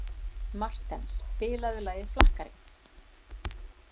Marten, spilaðu lagið „Flakkarinn“.